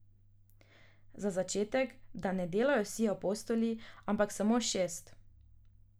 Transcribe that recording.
Za začetek, da ne delajo vsi apostoli, ampak samo šest.